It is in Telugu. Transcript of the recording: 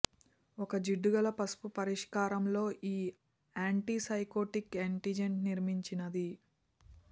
ఒక జిడ్డుగల పసుపు పరిష్కారం లో ఈ ఆంటిసైకోటిక్ ఏజెంట్ నిర్మించినది